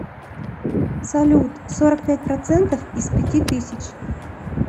салют сорок пять процентов из пяти тысяч